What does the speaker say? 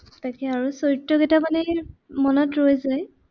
তাকে আৰু চৰিত্ৰ কেইটামানে সেই, মনত ৰৈ যায়।